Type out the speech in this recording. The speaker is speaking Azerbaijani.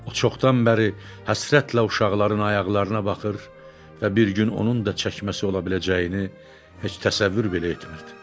O çoxdan bəri həsrətlə uşaqların ayaqlarına baxır və bir gün onun da çəkməsi ola biləcəyini heç təsəvvür belə etmirdi.